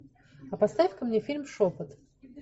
а поставь ка мне фильм шепот